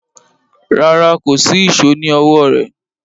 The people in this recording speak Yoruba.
Rárá, kò sí ìṣó ní ọwọ́ rẹ̀